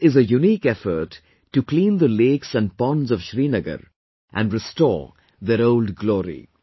This is a unique effort to clean the lakes and ponds of Srinagar and restore their old glory